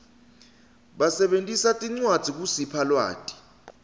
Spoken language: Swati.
basebentisa tincwadzi kusipha lwati